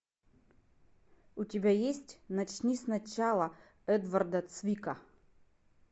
у тебя есть начни с начала эдварда цвика